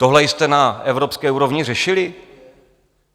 Tohle jste na evropské úrovni řešili?